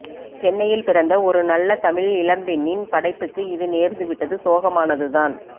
சென்னையில் பிறந்த ஒரு நல்ல தமிழ் இளம் பெண்ணின் படைப்புக்கு இது நேர்ந்துவிட்டது சோகமானதுதான்